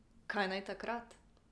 Kaj naj takrat?